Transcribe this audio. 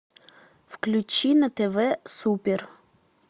включи на тв супер